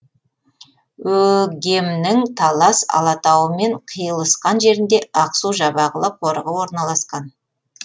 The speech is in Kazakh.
өгемнің талас алатауымен қиылысқан жерінде ақсу жабағылы қорығы орналасқан